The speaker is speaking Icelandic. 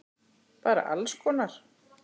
Bara alls konar!